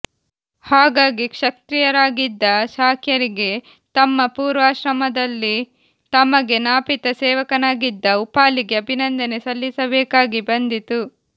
ಹಾಗಾಗಿ ಕ್ಷತ್ರಿಯರಾಗಿದ್ದ ಶಾಕ್ಯರಿಗೆ ತಮ್ಮ ಪೂರ್ವಾಶ್ರಮದಲ್ಲಿ ತಮಗೆ ನಾಪಿತ ಸೇವಕನಾಗಿದ್ದ ಉಪಾಲಿಗೆ ಅಭಿನಂದನೆ ಸಲ್ಲಿಸಬೇಕಾಗಿ ಬಂದಿತು